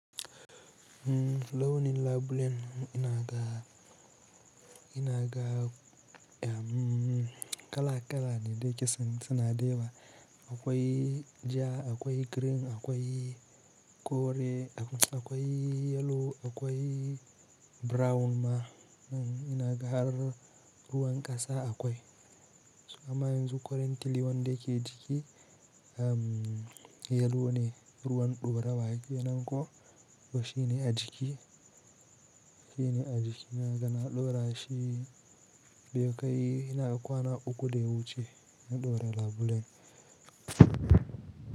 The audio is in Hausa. Launin labulen ina ga, ina ga kala-kala ne da yake san, suna da yawa. Akwai ja, akwai green, akwai kore, akwai yellow, akwai brown ma ina ga har ruwan ƙasa akwai. Amma yanzu currently wanda ke a jiki yellow ne, ruwan ɗorawa kenan ko, to shine a jiki, shine a jiki naga na ɗora shi. Zai kai ina ga kwana uku da ya wuce na ɗora labulen.